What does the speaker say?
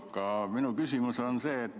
Aga minu küsimus on selline.